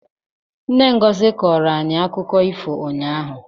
Nne Ngozi koora anyị akụkọ ifo ụnyahụ.